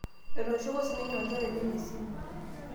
etooshoko sininye olchore lenye esimu